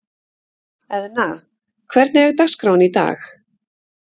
Eðna, hvernig er dagskráin í dag?